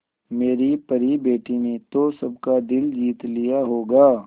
मेरी परी बेटी ने तो सबका दिल जीत लिया होगा